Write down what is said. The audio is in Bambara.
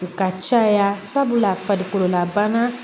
U ka caya sabula